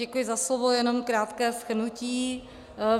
Děkuji za slovo, jenom krátké shrnutí.